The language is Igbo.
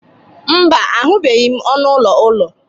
mba, ahụbeghị m ọnụ ụlọ ụlọ